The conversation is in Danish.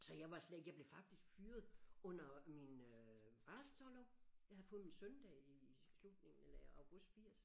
Så jeg var slet ikke jeg blev faktisk fyret under min øh barselsorlov jeg havde fået min søn der i i slutningen eller i august 80